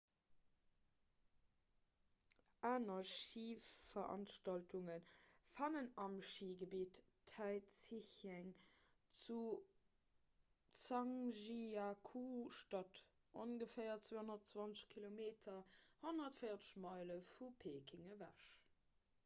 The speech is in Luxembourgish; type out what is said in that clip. aner schiveranstaltunge fannen am schigebitt taizicheng zu zhangjiakou statt ongeféier 220 km 140 meile vu peking ewech